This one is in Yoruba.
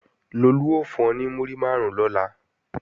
Lolú ó fún ọ ní múrí máàrún lọ́la